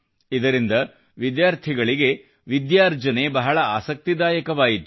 ಇದರಿಂದ ವಿದ್ಯಾರ್ಥಿಗಳಿಗೆ ವಿದ್ಯಾರ್ಜನೆ ಬಹಳ ಆಸಕ್ತಿದಾಯಕವಾಯಿತು